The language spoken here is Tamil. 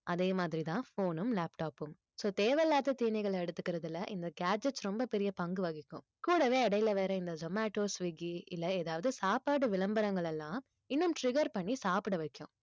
அதே மாதிரிதான் phone உம் laptop உம் so தேவையில்லாத தீனிகளை எடுத்துக்கிறதுல இந்த gadgets ரொம்ப பெரிய பங்கு வகிக்கும் கூடவே இடையில வேற இந்த zomato swiggy இல்லை ஏதாவது சாப்பாடு விளம்பரங்கள் எல்லாம் இன்னும் trigger பண்ணி சாப்பிட வைக்கும்